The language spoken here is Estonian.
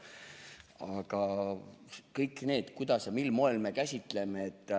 Aga kõik see, kuidas ja mil moel me midagi käsitleme.